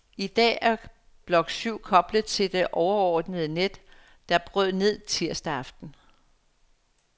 I dag er blok syv koblet til det overordnede net, der brød ned tirsdag aften.